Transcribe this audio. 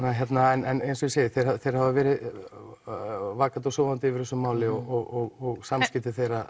en eins og ég segi þeir hafa þeir hafa verið vakandi og sofandi yfir þessu máli og samskipti þeirra